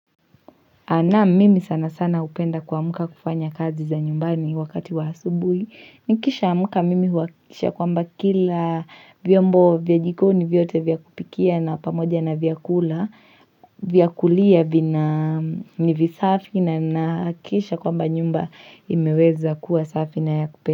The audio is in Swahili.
Na mimi sana sana hupenda kuamka kufanya kazi za nyumbani wakati wa asubuhi, nikishamka mimi huhakikisha kwamba kila vyombo vya jikoni vyote vya kupikia na pamoja na vyakula, vya kulia vina ni visafi na ninahakikisha kwamba nyumba imeweza kuwa safi na ya kupenda.